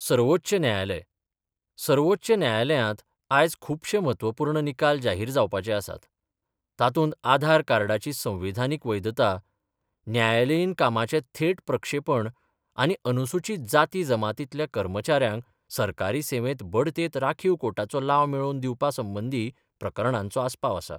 सर्वोच्च न्यायालय सर्वोच्च न्यायालयांत आयज खुपशे म्हत्वपुर्ण निकाल जाहिर जावपाचे आसात, तातुंत आधार कार्डाची संविधानिक वैधता, न्यायालयीन कामाचे थेट प्रक्षेपण आनी अनुसुचित जाती जमातींतल्या कर्मचाऱ्यांक सरकारी सेवेत बढतेंत राखीव कोटाचो लाव मेळोवन दिवपा संबंदि प्रकरणांचो आस्पाव आसा.